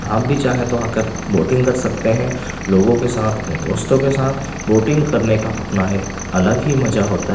आप भी चाहे तो आकर वोटिंग कर सकते हैं लोगों के साथ अपने दोस्तों के साथ वोटिंग करने का अपना एक अलग ही मजा होता है।